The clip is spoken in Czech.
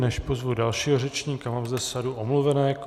Než pozvu dalšího řečníka, mám zde sadu omluvenek.